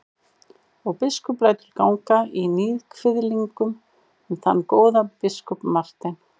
Og biskup lætur ganga í níðkviðlingum um þann góða biskup Martein.